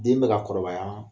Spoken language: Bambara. Den bɛ ka kɔrɔbaya